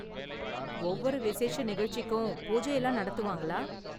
ஒவ்வொரு விசேஷ நிகழ்ச்சிக்கும், பூஜை எல்லாம் நடத்துவாங்களா?